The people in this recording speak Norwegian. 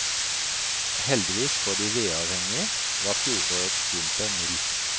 Heldigvis for de vedavhengige, var fjorårets vinter mild.